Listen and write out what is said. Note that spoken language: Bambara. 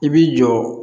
I b'i jɔ